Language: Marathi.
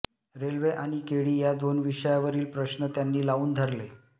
रेल्वे आणि केळी या दोन विषयावरील प्रश्न त्यांनी लावून धरले